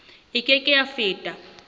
e ke ke ya feta